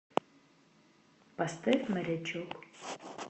поставь морячок